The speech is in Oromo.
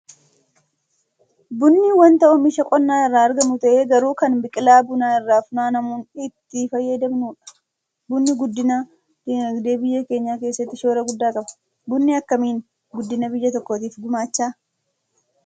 Bunni wanta oomisha qonnaa irraa argamu ta'ee garuu kan biqilaa bunaa irraa funaanamuun itti fayyadamnudha. Bunni guddina dinagdee biyya keenyaa keessatti shoora guddaa qaba. Bunni akkamiin guddina biyya tokkootiif gumaacha?